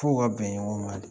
F'u ka bɛn ɲɔgɔn ma de